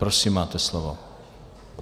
Prosím, máte slovo.